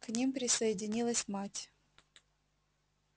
к ним присоединилась мать